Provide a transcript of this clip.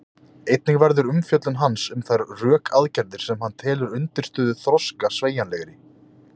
Einnig verður umfjöllun hans um þær rökaðgerðir sem hann telur undirstöðu þroska sveigjanlegri.